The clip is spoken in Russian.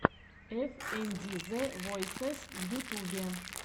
эф энд ди зэ войсез в ютубе